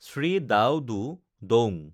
Shri Dau Du Daung